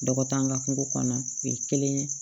Dɔgɔt'an ka kungo kɔnɔ u ye kelen ye